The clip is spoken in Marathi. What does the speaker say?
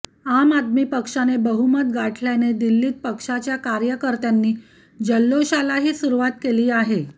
आम आदमी पक्षाने बहुमत गाठल्याने दिल्लीत पक्षाच्या कार्यकर्त्यांनी जल्लोषालाही सुरुवात केली आहे